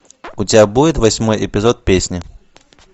у тебя будет восьмой эпизод песни